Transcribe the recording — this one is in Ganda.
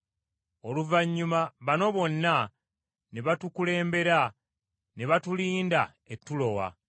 Oluvannyuma bano bonna ne batukulembera ne batulinda e Tulowa.